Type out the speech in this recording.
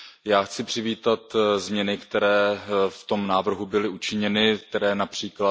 Já chci přivítat změny, které v tom návrhu byly učiněny, které např.